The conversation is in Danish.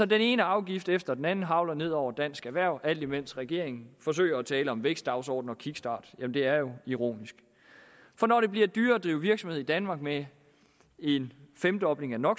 den ene afgift efter den anden hagler altså ned over dansk erhverv alt imens regeringen forsøger at tale om vækstdagsorden og kickstart jamen det er jo ironisk for når det bliver dyrere at drive virksomhed i danmark med en femdobling af no